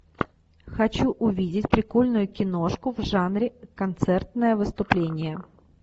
хочу увидеть прикольную киношку в жанре концертное выступление